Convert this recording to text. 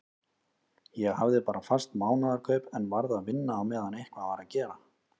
Ég hafði bara fast mánaðarkaup en varð að vinna á meðan eitthvað var að gera.